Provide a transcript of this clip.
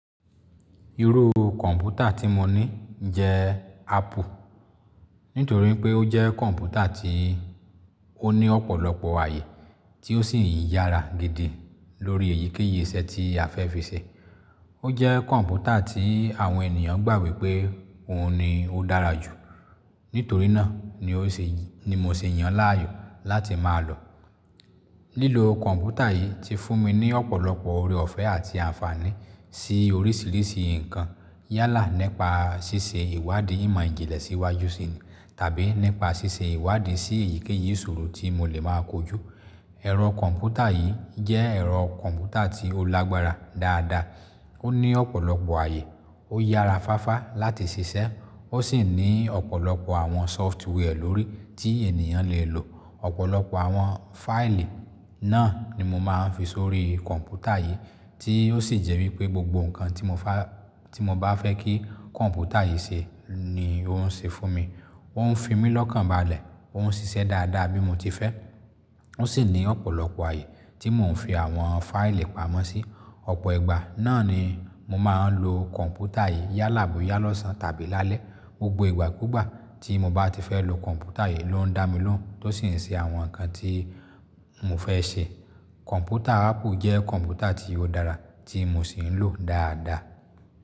Irú kọ̀ǹpútà tí mo ní jẹ́ Apple. Nítorí pé ó jẹ́ kọ̀ǹpútà tí ó ní ọ̀pọ̀lọpọ̀ àyè tí ó sì ń yára gidi lórí èyíkéyìí iṣẹ́ tí a fẹ́ fi ṣe. Ó jẹ́ kọ̀ǹpútà tí àwọn ènìyàn gbàgbé pé òun ni ó dára jù. Nítorí náà ni mo ṣe yàn láàyò láti máa lò. Lílo kọ̀ǹpútà yìí ti fún mi ní ọ̀pọ̀lọpọ̀ ore ọ̀fẹ́ àti àǹfààní sí oríṣìíríṣìí ǹkan. Yálà nípa ṣíṣe ìwádìí ìmọ̀ ìjìnlẹ̀ síwájú sì tàbí nípa ṣíṣe ìwádìí sí èyíkéyìí ìṣòro tí mo lè máa kojú. Ẹ̀rọ kọ̀ǹpútà yìí jẹ́ ẹ̀rọ kọ̀ǹpútà tí ó lágbára dáadáa. Ó ní ọ̀pọ̀lọpọ̀ àyè, ó yára fáfa láti ṣiṣẹ́, ó sì ní ọ̀pọ̀lọpọ̀ àwọn sọftware lórí tí ènìyàn lè lò. Ọ̀pọ̀lọpọ̀ àwọn fáìlì náà ni mo máa ń fi sórí kọ̀ǹpútà yìí tí ó sì jẹ́ wípé gbogbo ǹkan tí mo bá fẹ́ kí kọ̀ǹpútà yìí ṣe ni ó ń ṣe fún mi. Ó ń fi mí lọ́kànbalẹ̀, ó ń ṣiṣẹ́ dáadáa bí mo ti fẹ́. Ó sì ní ọ̀pọ̀lọpọ̀ àyè tí mò ń fi àwọn fáìlì pamọ́ sí. Ọ̀pọ̀ ìgbà náà ni mo máa ń lo kọ̀ǹpútà yìí yálà bóyá lọ́sàn tàbí lálẹ́. Gbogbo ìgbàkúgbà tí mo bá ti fẹ́ lo kọ̀ǹpútà yìí ló ń dá mi lóhùn tó sì ń ṣe àwọn ǹkan tí mo fẹ́ ṣe. Kọ̀ǹpútà Apple jẹ́ kọ̀ǹpútà tí ó dára tí mo sì ń lò dáadáa.